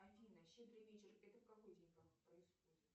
афина щедрый вечер это в какой день происходит